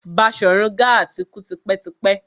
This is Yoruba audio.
Baṣorun Gaa ti kú tipẹ́ tipẹ́.